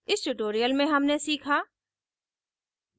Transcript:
इस tutorial में हमने सीखा